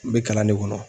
N bɛ kalan de kɔnɔ